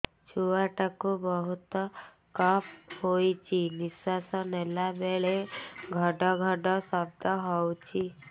ଛୁଆ ଟା କୁ ବହୁତ କଫ ହୋଇଛି ନିଶ୍ୱାସ ନେଲା ବେଳେ ଘଡ ଘଡ ଶବ୍ଦ ହଉଛି